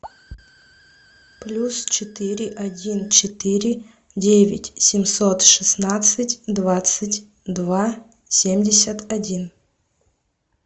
плюс четыре один четыре девять семьсот шестнадцать двадцать два семьдесят один